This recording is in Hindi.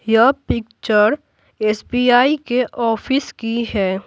यह पिक्चर एस_ बी _आई के ऑफिस की है।